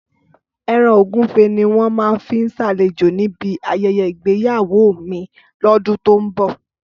Ẹran Ògúnfe ni wọ́n máa fi ṣàlejò ní bí ayẹyẹ ìgbéyàwó mi lódún to n bò